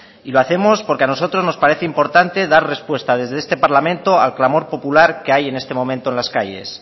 y lo hacemos porque a nosotros nos parece importante dar respuesta desde este parlamento al clamor popular que hay en este momento en las calles